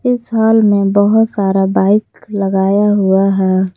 इस हॉल में बहुत सारा बाइक लगाया हुआ है।